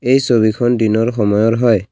এই ছবিখন দিনৰ সময়ৰ হয়।